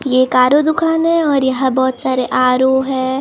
ये एक R O दुकान है और यहाँ बहुत सारे आर ओ हैं इस।